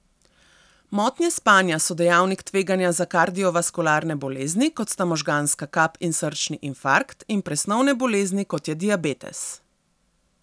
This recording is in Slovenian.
Motnje spanja so dejavnik tveganja za kardiovaskularne bolezni, kot sta možganska kap in srčni infarkt, in presnovne bolezni, kot je diabetes.